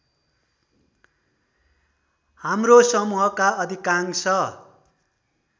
हाम्रो समूहका अधिकांश